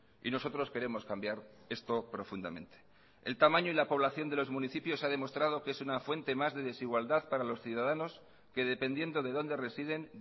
y nosotros queremos cambiar esto profundamente el tamaño y la población de los municipios ha demostrado que es una fuente más de desigualdad para los ciudadanos que dependiendo de dónde residen